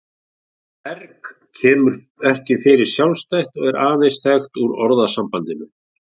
Orðið erg kemur ekki fyrir sjálfstætt og er aðeins þekkt úr orðasambandinu.